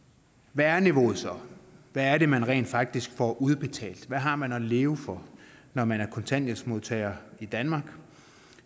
hvad er niveauet så hvad er det man rent faktisk får udbetalt hvad har man at leve for når man er kontanthjælpsmodtager i danmark